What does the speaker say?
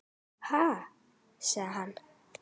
Ha? segir hann.